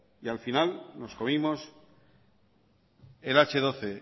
y al final nos comimos el hache doce